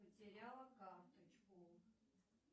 потеряла карточку